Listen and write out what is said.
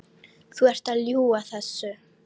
Þú ert að ljúga þessu!